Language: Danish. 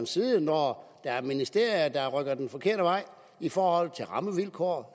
side når der er ministerier der rykker den forkerte vej i forhold til rammevilkår